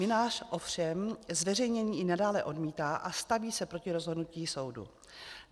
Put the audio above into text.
Mynář ovšem zveřejnění i nadále odmítá a staví se proti rozhodnutí soudu.